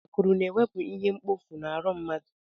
Akụrụ na-ewepu ihe mkpọfu n'ahụ mmadụ.